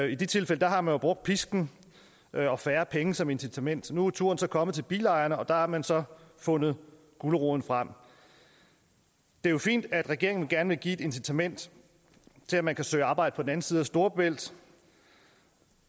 i de tilfælde har man jo brugt pisken og færre penge som incitament nu er turen så kommet til bilejerne og der har man så fundet guleroden frem det er jo fint at regeringen gerne vil give et incitament til at man kan søge arbejde på den anden side af storebælt